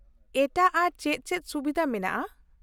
-ᱮᱴᱟᱜ ᱟᱨᱚ ᱪᱮᱫ ᱪᱮᱫ ᱥᱩᱵᱤᱫᱷᱟ ᱢᱮᱱᱟᱜᱼᱟ ?